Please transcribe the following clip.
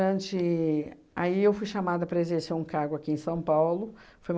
ante aí eu fui chamada para exercer um cargo aqui em São Paulo. Foi